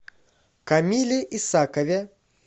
камиле исакове